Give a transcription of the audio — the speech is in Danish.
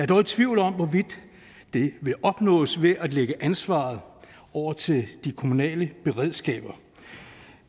dog i tvivl om hvorvidt det vil opnås ved at lægge ansvaret over til de kommunale beredskaber